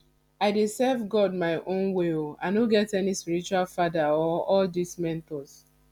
i dey serve god my own way oo i no get any spiritual father or all dis mentors